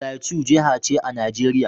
Plateau jiha ce a Najeriya.